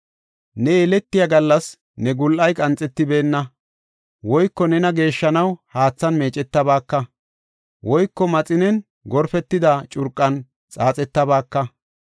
Ne yellatiya gallas ne gul7ay qanxetibnna; woyko nena geeshshanaw haathan meecetabaaka; woyko maxinen gorpetada curqan xaaxetabaaka.